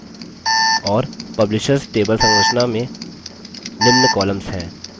और publishers table संरचना में निम्न columns हैं: